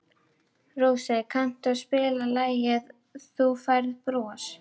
Rósey, kanntu að spila lagið „Þú Færð Bros“?